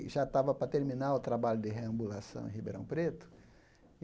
E já estava para terminar o trabalho de reambulação em Ribeirão Preto.